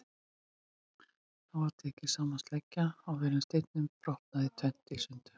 Þá er tekin sama sleggja og áður og steinninn brotinn sundur í tvennt.